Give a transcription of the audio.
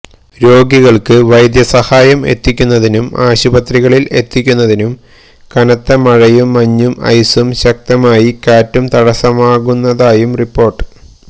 രോഗികൾക്ക് വൈദ്യസഹായം എത്തിക്കുന്നതിനും ആശുപത്രികളിൽ എത്തിക്കുന്നതിനും കനത്ത മഴയും മഞ്ഞും ഐസും ശക്തമായി കാറ്റും തടസമാകുന്നതായും റിപ്പോർട്ട്